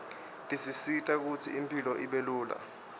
tisisita kutsi impilo ibelula